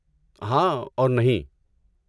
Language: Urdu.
ہاں اور نہیں!